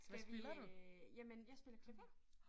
Skal vi øh jamen jeg spiller klaver